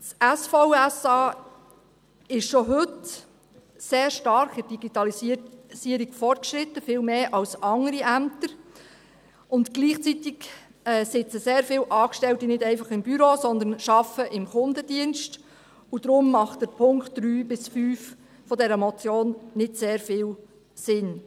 Das SVSA ist in der Digitalisierung schon heute sehr stark fortgeschritten, viel mehr als andere Ämter, und gleichzeitig sitzen sehr viele Angestellte nicht einfach im Büro, sondern arbeiten im Kundendienst, und deshalb machen die Punkte 3 bis 5 dieser Motion nicht sehr viel Sinn.